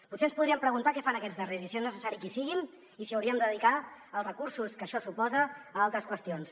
potser ens podríem preguntar què fan aquests darrers i si és necessari que hi siguin i si hauríem de dedicar els recursos que això suposa a altres qüestions